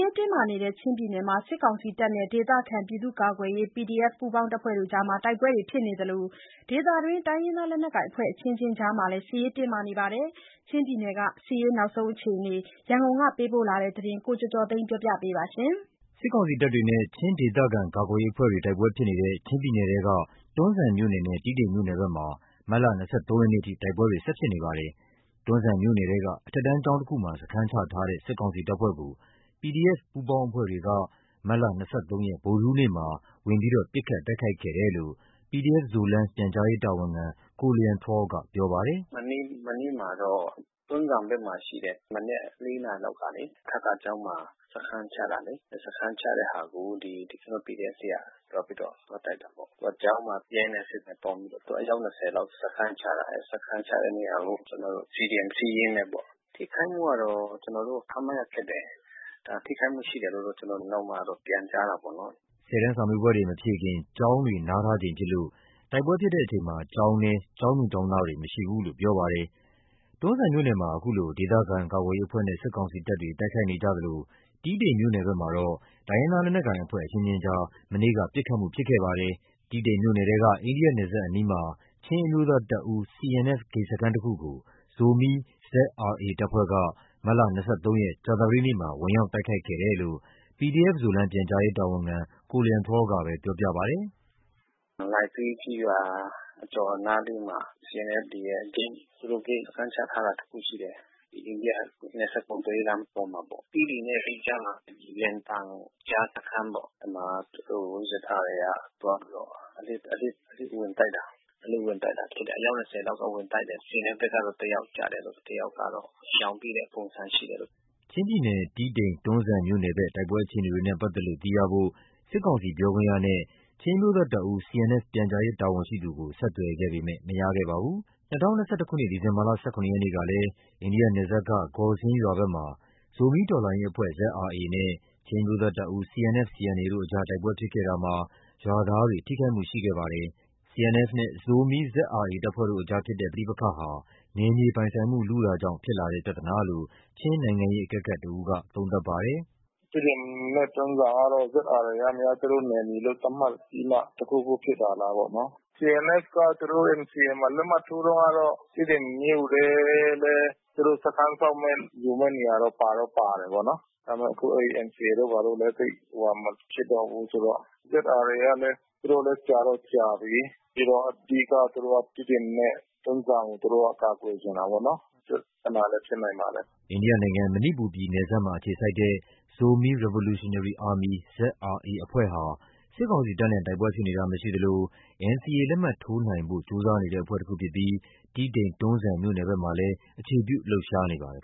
ရေးတင်းမာနေတဲ့ ချင်းပြည်နယ်မှာ စစ်ကောင်စီတပ်နဲ့ ဒေသခံပြည်သူ့ကာကွယ်ရေး PDF ပူးပေါင်းအဖွဲ့တွေ တိုက်ပွဲဖြစ်နေ သလို ဒေသတွင်း တိုင်းရင်းသားလက်နက်ကိုင်အဖွဲ့အချင်းချင်းကြားမှာလည်း စစ်ရေးတင်းမာနေပါတယ်။ ချင်းပြည်နယ်ဘက်က စစ်ရေးအခြေအနေအကြောင်း ရန်ကုန်က ပေးပို့တဲ့သတင်းကို ကိုကျော်ကျော်သိန်းက တင်ပြပေးထားပါတယ်။ စစ်ကောင်စီတပ်တွေနဲ့ ချင်းဒေသခံကာကွယ်ရေးအဖွဲ့တွေ တိုက်ပွဲဖြစ်နေတဲ့ ချင်းပြည်နယ်ထဲက တွန်းဇံမြို့နယ် နဲ့ တီးတိန်မြို့နယ်ဘက်မှာ မတ်လ ၂၃ ရက်နေ့အထိ တိုက်ပွဲတွေဖြစ်နေပါတယ်။ တွန်းဇံမြို့နယ်ထဲက အထက်တန်းကျောင်းတခုမှာ စခန်းချထားတဲ့ စစ်ကောင်စီတပ်ဖွဲ့ကို PDF ပူးပေါင်းအဖွဲ့တွေက မတ်လ ၂၃ ရက် ဗုဒ္ဓဟူးနေ့မှာ ဝင်ရောက်ပစ်ခတ်တိုက်ခိုက်ခဲ့တယ်လို့ PDF Zoland ပြန်ကြားရေးတာဝန်ခံ တဦးက ပြောပါတယ်။ “မနေ့မနက်မှာတော့ တွန်းဇံဘက်မှာရှိတဲ့ မနက် (၄) နာရီလောက်ကလေ အထကကျောင်းမှာ စခန်းချထားတဲ့ စခန်းချတဲ့ဟာကို ကျနော်တို့ PDF တွေက သွားပြီးတော့ဝင်တိုက်တာပေါ့။ ကျောင်းမှာ ရဲနဲ့စစ်သားနဲ့ပေါင်းပြီးတော့ အယောက် (၂၀) လောက် စခန်းချထားတယ်ပေါ့။ စခန်းချတဲ့နေရာကို CDM Siyin နဲ့ပေါ့။ ထိခိုက်မှုကတော့ ကျနော်တို့ ခန့်မှန်းရခက်တယ်။ ထိခိုက်မှုရှိတယ်လို့ ကျနော်တို့ကနောက်မှတော့ပြန်ကြားတာပေါ့နော်။’’ ၁၀ တန်းစာမေးပွဲတွေမဖြေခင် ကျောင်းတွေနားထားချိန်ဖြစ်လို့ တိုက်ပွဲဖြစ်ချိန် ကျောင်းထဲမှာတော့ ကျောင်းသူကျောင်းသားတွေ မရှိဘူးလို့ပြောပါတယ်။ တွန်းဇံမြို့နယ်မှာ အခုလို ဒေသခံကာကွယ်ရေးအဖွဲ့နဲ့ စစ်ကောင်စီတပ်တွေ တိုက်ခိုက်နေကြသလို တီးတိန်မြို့ နယ်ဘက်မှာတော့ တိုင်းရင်းသားလက်နက်ကိုင်အဖွဲ့ အချင်းချင်းကြား မနေ့က ပစ်ခတ်မှုဖြစ်ခဲ့ပါတယ်။ တီးတိန်မြို့နယ်ထဲက အိန္ဒိယနယ်စပ်အနီးမှာ ချင်းအမျိုးသားတပ်ဦး CNF ဂိတ်စခန်းတခုကို ဇိုမီ ZRA တပ်ဖွဲ့က မတ်လ (၂၃) ရက် ကြာသပတေးနေ့မှာ ဝင်ရောက်တိုက်ခိုက်ခဲ့တယ်လို့လည်းသူက ပြောပြပါတယ်။ “လိုင်စင်းကျေးရွာအကျော်နားလေးမှာ CNF တွေရဲ့ဂိတ် သူတို့ဂိတ်စခန်းချထားတာတခုရှိတယ်။ အိန္ဒိယနယ်စပ် ကုန်သွယ်ရေး လမ်းပေါ်မှာပေါ့။ တီးတိန်နဲ့လိကြားမှာ လွယ်တန်ကြားစခန်းပေါ့။ အဲဒီမှာ သူတို့ ZRA က သွားပြီးတော့ အလစ်ဝင်ပြီးတော့ တိုက်တာ။ အလစ်ဝင်တိုက်တာဖြစ်တယ်။ အယောက် (၂၀) လောက်ဝင်တိုက်တယ်။ CNF ဘက်က တယောက်ကျတယ်ပေါ့။ တယောက်ကတော့ ရှောင်ပြေးတဲ့ပုံစံဖြစ်တယ်။’’ ချင်းပြည်နယ်၊ တီးတိန်-တွန်းဇံမြို့နယ်ဘက် တိုက်ပွဲအခြေအနေနဲ့ပက်သက်လို့ သိရဖို့ စစ်ကောင်စီပြောခွင့်ရနဲ့ ချင်းအမျိုးသားတပ်ဦး CNF ပြန်ကြားရေးတာဝန်ရှိသူကို ဆက်သွယ်ခဲ့ပေမဲ့မရခဲ့ပါဘူး။ ၂၀၂၁ ခုနှစ် ဒီဇင်ဘာ ၁၇ ရက်နေ့က လည်း အိန္ဒိယနယ်စပ်က Gawsing ဂေါ်စင်းရွာဘက်မှာ ဇိုမီးတော်လှန်ရေးအဖွဲ့ ZRA နဲ့ ချင်းအမျိုးသားတပ်ဦး CNF/CAN တို့ အကြား တိုက်ပွဲဖြစ်ခဲ့တာမှာ ရွာသားတွေ ထိခိုက်မှုရှိခဲ့ပါတယ်။ CNF နဲ့ ဇိုမီး ZRA တပ်ဖွဲ့တို့ကြား ရှိတဲ့ပဋိပက္ခဟာ နယ်မြေပိုင်ဆိုင်မှု လုတာကြောင့် ဖြစ်လာတဲ့ပြဿနာလို့ ချင်းနိုင်ငံရေးအကဲခတ်တဦးကပြောပါတယ်။ “တီးတိန်နဲ့တွန်းဇံကတော့ ZRA ကများ သူတို့နယ်မြေသတ်မှတ်ပြီးမှ တခုခုဖြစ်တာလားပေါ့နော်။ CNF ကတော့ NCA မှာ လက်မှတ်ထိုးတုန်းကတော့ တီးတိန်မြို့ထဲလည်း သူတို့စခန်းဆောက်မဲ့ ယူမဲ့နေရာတော့ပါတော့ပါတာပေါ့။ ဒါပေမဲ့အခု NCA တို့ ဘာတို့ကလည်း သိပ်ဟိုဟာမဖြစ်တော့ဘူးဆိုတော့။ ZRA ကလည်း သူတို့လည်း ကြာတော့ကြာပြီး။ ပြီးတော့ အဓိက သူတို့က တီးတိန် နဲ့တွန်းဇံကို ကာကွယ်ချင်တာပေါ့နော်။ အဲဒီပြဿနာလည်း ဖြစ်နိုင်ပါတယ်။’’ အိန္ဒိယနိုင်ငံ၊ မဏိပူရ်ပြည်နယ်စပ်မှာအခြေစိုက်တဲ့ Zomi Revolutionary Army (ZRA) အဖွဲ့ဟာ စစ်ကောင်စီတပ်နဲ့ တိုက်ပွဲ ဖြစ်တာမရှိသလို NCAလက်မှတ်ထိုးနိုင်ဖို့ကြိုးစားနေတဲ့အဖွဲ့တခုဖြစ်ပြီး တီးတိန် တွန်းဇံမြို့နယ်ဘက်မှာလည်း အခြေပြုလှုပ်ရှားနေပါတယ်